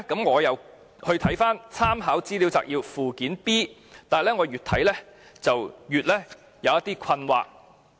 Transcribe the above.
我再看看立法會參考資料摘要的附件 B， 但越來越感到困惑。